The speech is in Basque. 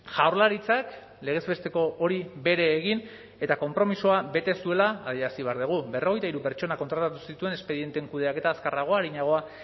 jaurlaritzak legez besteko hori bere egin eta konpromisoa bete zuela adierazi behar dugu berrogeita hiru pertsona kontratatu zituen espedienteen kudeaketa azkarragoa arinagoa